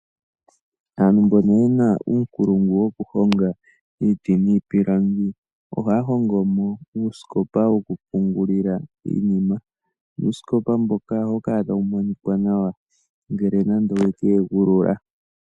Aantu mbono yena uunkulungu woku honga iiti niipilangi ohaya hongomo uusikopa woku pungulila iinima nuusikopa mboka ohawu kala tawu monika nawa ngele nande owe ke egulula.